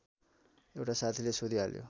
एउटा साथीले सोधिहाल्यो